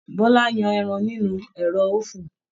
Bọla yan ẹran nínú ẹrọ ofun.